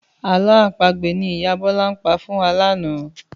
Àlọ́ àpagbè ni ìyá Bọ́lá pa fún wa lánàá